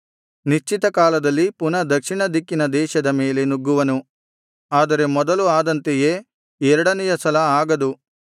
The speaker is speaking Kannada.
ನಿಶ್ಚಿತ ಕಾಲದಲ್ಲಿ ಪುನಃ ದಕ್ಷಿಣ ದಿಕ್ಕಿನ ದೇಶದ ಮೇಲೆ ನುಗ್ಗುವನು ಆದರೆ ಮೊದಲು ಆದಂತೆಯೇ ಎರಡನೆಯ ಸಲ ಆಗದು